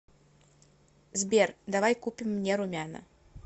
сбер давай купим мне румяна